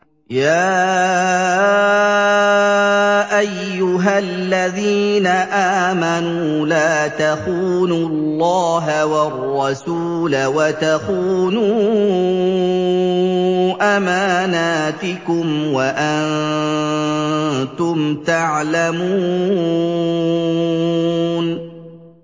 يَا أَيُّهَا الَّذِينَ آمَنُوا لَا تَخُونُوا اللَّهَ وَالرَّسُولَ وَتَخُونُوا أَمَانَاتِكُمْ وَأَنتُمْ تَعْلَمُونَ